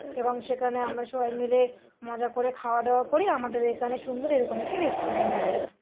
এবং সেখানে আমরা সবাই মিলে মজা করে খাওয়া দাওয়া করি আমাদের এখানে সুন্দর এরকম একটি রেস্টুরেন্ট আছে ।